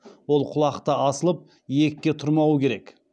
ол құлақта асылып иекке тұрмауы керек